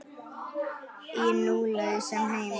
Í nú lausum heimi.